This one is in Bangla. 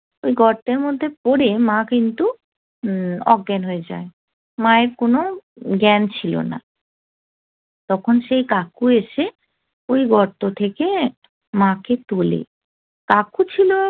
গর্তের মধ্যে পড়ে মা কিন্তু অজ্ঞান হয়ে যায় মায়ের কোন জ্ঞান ছিল না তখন সেই কাকু এসে ওই গর্ত থেকে মাকে তোলে কাকু ছিল